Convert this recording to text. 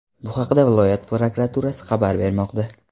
Bu haqda viloyat prokuraturasi xabar bermoqda .